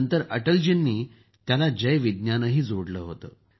नंतर अटलजींनी त्याला जय विज्ञानही जोडलं होतं